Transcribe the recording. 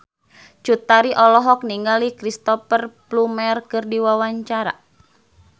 Cut Tari olohok ningali Cristhoper Plumer keur diwawancara